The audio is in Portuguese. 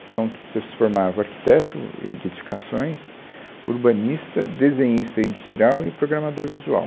Então, você se formava arquiteto êh de edificações, urbanista, desenhista industrial e o programador visual.